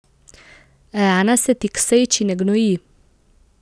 Rana se ti k sreči ne gnoji.